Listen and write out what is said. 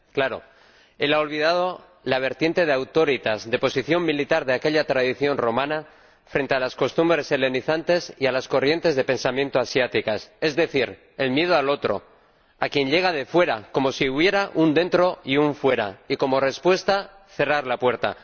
Claro, él ha olvidado la vertiente de de posición militar de aquella tradición romana frente a las costumbres helenizantes y a las corrientes de pensamiento asiáticas, es decir, el miedo al otro, a quien llega de fuera, como si hubiera un dentro y un fuera y, como respuesta, cerrar la puerta.